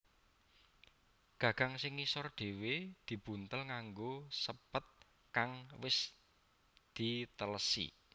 Gagang sing ngisor dhewe dibuntel nganggo sépet kang wis dhitelesi